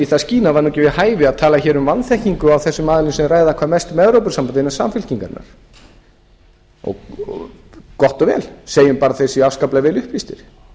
það væri ekki við hæfi tala hér um vanþekkingu á þessum aðilum sem ræða hvað mest um evrópusambandið innan samfylkingarinnar gott og vel segjum bara að þeir séu afskaplega vel upplýstir